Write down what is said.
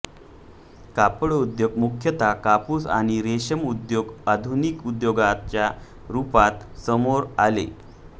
कापड उद्योग मुख्यतः कापूस आणि रेशीम उद्योग आधुनिक उद्योगाच्या रुपात समोर आले